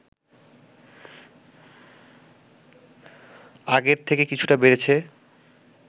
আগের থেকে কিছুটা বেড়েছে